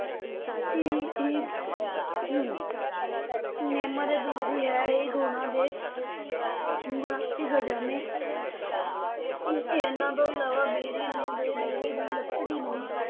ਕਿ ਇਹ ਨਿੰਮ ਅਤੇ ਤੁਲਸੀ ਹੈ ਇਹ ਗੁਣਾਂ ਦੇ ਗੁਣਾ ਦੇ ਖ਼ਜ਼ਾਨੇ ਇਨ੍ਹਾਂ ਤੋਂ ਇਲਾਵਾ ਬੇਰੀ ਨੂੰ ਤੇ ਬੇਰੀ ਦੀ ਲੱਕੜੀ ਨੂੰ